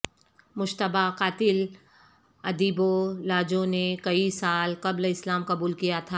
مشتبہ قاتل ادیبولاجو نے کئی سال قبل اسلام قبول کیا تھا